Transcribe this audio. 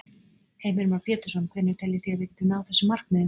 Heimir Már Pétursson: Hvenær teljið þið að við getum náð þessum markmiðum?